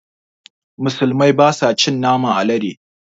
Musulmai basa cin naman alade